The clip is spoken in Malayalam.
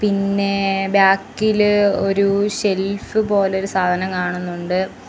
പിന്നെ ബാക്കില് ഒരു ഷെൽഫ് പോലെ ഒരു സാധനം കാണുന്നുണ്ട്.